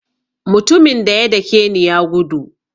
Mutumin daya dake ni ya gudu.